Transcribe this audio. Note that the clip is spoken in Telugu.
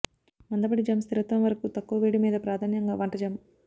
మందపాటి జామ్ స్థిరత్వం వరకు తక్కువ వేడి మీద ప్రాధాన్యంగా వంట జామ్